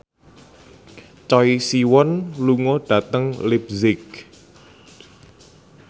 Choi Siwon lunga dhateng leipzig